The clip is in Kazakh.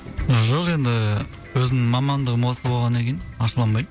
жоқ енді ііі өзімнің мамандығым осы болғаннан кейін ашуланбаймын